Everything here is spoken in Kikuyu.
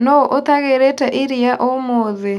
Nũu ũtagĩrĩte iria ũmũthĩ.